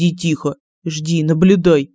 и тихо жди наблюдай